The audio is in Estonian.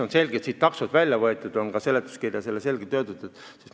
On selge, et taksod on siit välja võetud, nii on ka seletuskirjas selgelt öeldud.